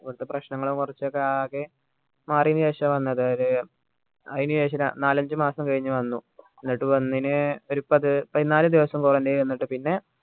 ഇവിടുത്തെ പ്രശ്നങ്ങളൊക്കെ കുറച്ചൊക്കെ ആകെ മാറിന് ശേഷ വന്നത് അതായത് അയിന് ശേഷം ഏർ നാലഞ്ച് മാസം കഴിഞ്ഞു വന്നു എന്നിട്ട് വന്നിന് ഒരു പത് പതിനാല് ദിവസം quarantine നിന്നിട്ട് പിന്നെ